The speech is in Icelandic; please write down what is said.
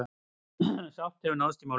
Sátt hefur náðst í málinu.